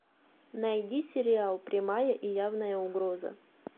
найди сериал прямая и явная угроза